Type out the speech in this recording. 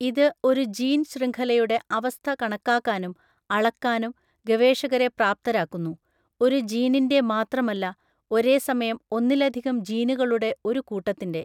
ഇത് ഒരു ജീൻ ശൃംഖലയുടെ അവസ്ഥ കണക്കാക്കാനും അളക്കാനും ഗവേഷകരെ പ്രാപ്തരാക്കുന്നു. ഒരു ജീനിന്റെ മാത്രമല്ല, ഒരേസമയം ഒന്നിലധികം ജീനുകളുടെ ഒരു കൂട്ടത്തിന്റെ.